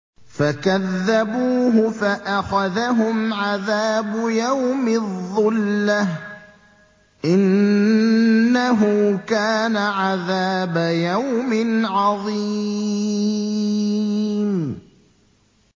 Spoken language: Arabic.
فَكَذَّبُوهُ فَأَخَذَهُمْ عَذَابُ يَوْمِ الظُّلَّةِ ۚ إِنَّهُ كَانَ عَذَابَ يَوْمٍ عَظِيمٍ